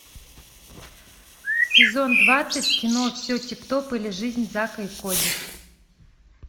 сезон двадцать кино все тип топ или жизнь зака и коди